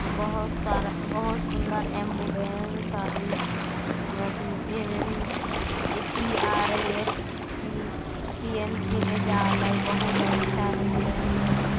बहुत सारा बहोत सुंदर एम्बुलेंस हेय अथि ए.पी.आर.सी.पी.एम.सी. में जायले बहुत अच्छा एम्बुलेंस हेय।